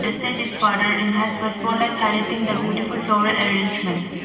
The stage is further inhence by spotlights highlighting the beautiful flower arrangements.